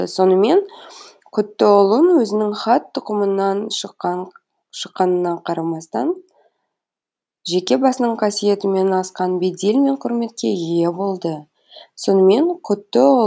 сонымен құтұлұн өзінің хан тұқымынан шыққанына қарамастан жеке басының қасиетімен асқан бедел мен құрметке ие болды